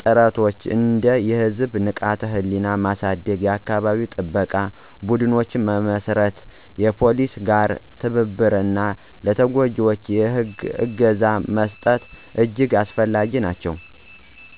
ጥረቶች እንደ የህዝብ ንቃተ-ህሊና ማሳደግ፣ የአካባቢ ጥበቃ ቡድኖች መመስረት፣ ከፖሊስ ጋር ትብብር እና ለተጎጂዎች የህግ እገዛ መስጠት እጅግ አስፈላጊ ናቸው።